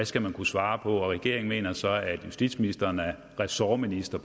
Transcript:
skal kunne svare på regeringen mener så at justitsministeren er ressortminister